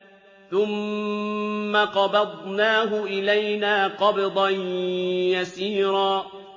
ثُمَّ قَبَضْنَاهُ إِلَيْنَا قَبْضًا يَسِيرًا